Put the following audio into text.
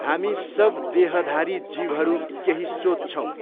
हामी सब देहधारी जीवहरू केही सोच्छौँ।